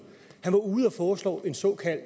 han var ude at foreslå en såkaldt